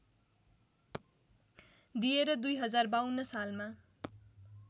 दिएर २०५२ सालमा